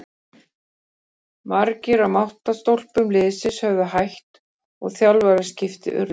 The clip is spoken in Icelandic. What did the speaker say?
Margir af máttarstólpum liðsins höfðu hætt og þjálfaraskipti urðu.